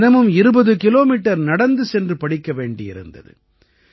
தினமும் 20 கிலோமீட்டர் நடந்து சென்று படிக்க வேண்டியிருந்தது